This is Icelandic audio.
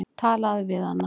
Talaðu við hana.